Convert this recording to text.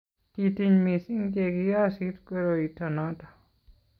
kitiny mising che kiyosit koroito noto